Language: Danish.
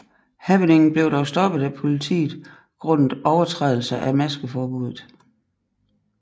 Happeningen blev dog stoppet af politiet grundet overtrædelse af maskeforbuddet